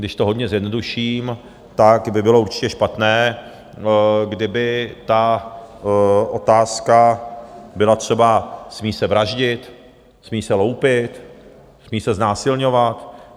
Když to hodně zjednoduším, tak by bylo určitě špatné, kdyby ta otázka byla třeba: smí se vraždit, smí se loupit, smí se znásilňovat?